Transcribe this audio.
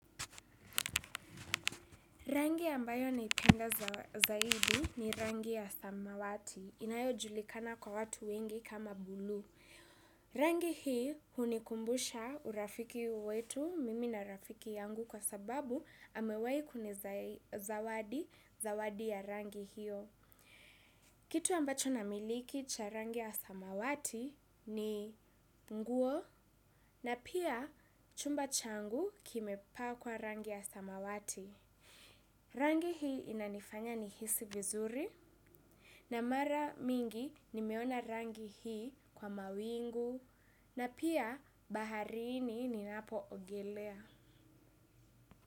Rangi ambayo naipenda zaidi ni rangi ya samawati. Inayojulikana kwa watu wengi kama bluu. Rangi hii hunikumbusha urafiki wetu mimi na rafiki yangu kwa sababu amewahi kunizawadi zawadi ya rangi hiyo. Kitu ambacho namiliki cha rangi ya samawati ni nguo na pia chumba changu kimepakwa rangi ya samawati. Rangi hii inanifanya nihisi vizuri, na mara mingi nimeona rangi hii kwa mawingu. Na pia baharini ninapoogelea.